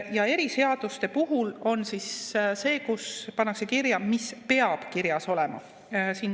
Ja eriseaduste puhul pannakse kirja, mis peab kirjas olema.